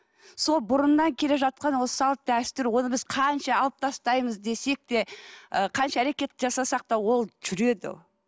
сол бұрыннан келе жатқан осы салт дәстүр оны біз қанша алып тастаймыз десек те ы қанша әрекет жасасақ та ол жүреді